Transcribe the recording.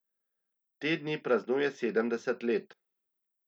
Te dni praznuje sedemdeset let.